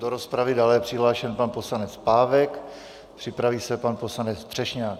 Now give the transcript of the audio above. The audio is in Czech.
Do rozpravy je dále přihlášen pan poslanec Pávek, připraví se pan poslanec Třešňák.